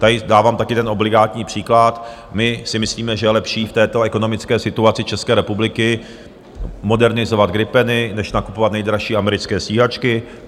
Tady dávám taky ten obligátní příklad - my si myslíme, že je lepší v této ekonomické situaci České republiky modernizovat gripeny než nakupovat nejdražší americké stíhačky.